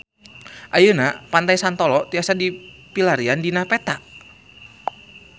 Ayeuna Pantai Santolo tiasa dipilarian dina peta